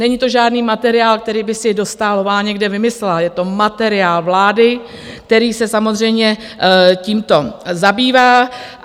Není to žádný materiál, který by si Dostálová někde vymyslela, je to materiál vlády, který se samozřejmě tímto zabývá.